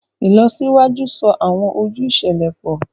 Ìlọsíwájú so awọn ojú iṣẹlẹ pọ